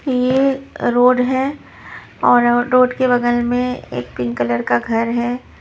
ये अ रोड है और रोड के बगल में एक पिंक कलर का घर है।